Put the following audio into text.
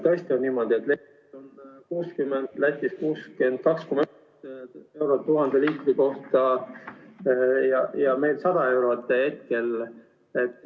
Tõesti on niimoodi, et Leedus on 60, Lätis 62,1 eurot 1000 liitri kohta ja meil 100 eurot.